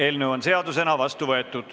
Eelnõu on seadusena vastu võetud.